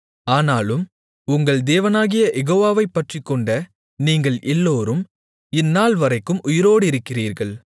ஆனாலும் உங்கள் தேவனாகிய யெகோவாவைப் பற்றிக்கொண்ட நீங்கள் எல்லோரும் இந்நாள்வரைக்கும் உயிரோடிருக்கிறீர்கள்